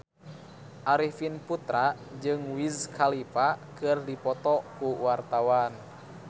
Arifin Putra jeung Wiz Khalifa keur dipoto ku wartawan